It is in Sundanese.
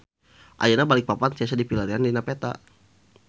Ayeuna Balikpapan tiasa dipilarian dina peta